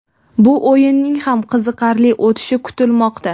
Bu o‘yinning ham qiziqarli o‘tishi kutilmoqda.